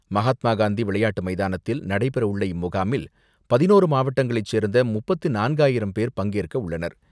மகாத்மா காந்தி விளையாட்டு மைதானத்தில் நடைபெற உள்ள இம்முகாமில், பதினோரு மாவட்டங்களை சேர்ந்த முப்பத்து நான்காயிரம் பேர் பங்கேற்க உள்ளனர்.